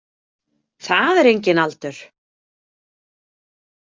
Það er enginn aldur.